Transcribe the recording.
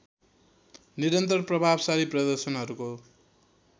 निरन्तर प्रभावसाली प्रदर्शनहरूको